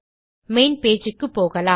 main page க்குப்போகலாம்